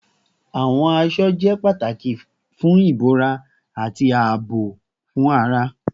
Awọn aṣọ jẹ pataki fun ibora ati aabo fun ara